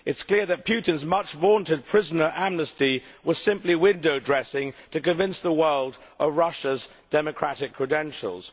It is clear that Putin's much vaunted prisoner amnesty was simply window dressing to convince the world of Russia's democratic credentials.